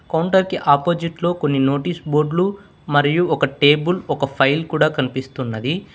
counter కి అపోజిట్లో కొన్ని నోటీస్ బోర్డ్లు మరియు ఒక టేబుల్ ఒక ఫైల్ కూడ కనిపిస్తున్నది